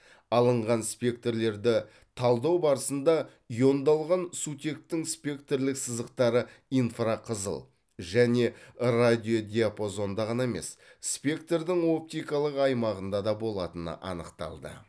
алынған спектрлерді талдау барысында иондалған сутектің спектрлік сызықтары инфрақызыл және радиодиапазонда ғана емес спектрдің оптикалық аймағында да болатыны анықталды